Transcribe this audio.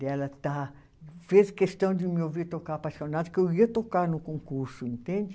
De ela estar. Fez questão de me ouvir tocar Appassionata, porque eu ia tocar no concurso, entende?